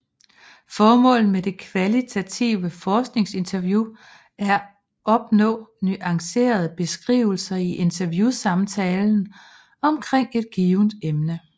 Formålet med det kvalitative forskningsinterview er opnå nuancerede beskrivelser i interviewsamtalen omkring et givent emne